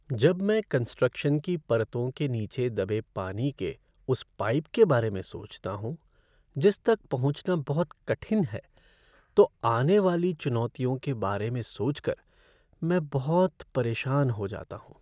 जब मैं कंस्ट्रक्शन की परतों के नीचे दबे पानी के उस पाइप के बारे में सोचता हूँ, जिस तक पहुँचना बहुत कठिन है, तो आने वाली चुनौतियों के बारे में सोच कर मैं बहुत परेशान हो जाता हूँ।